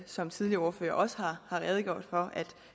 som tidligere ordførere også har redegjort for at